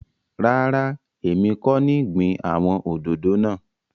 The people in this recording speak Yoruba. Ràrá, èmi kọ́ ní gbìn àwon òdòdó náà.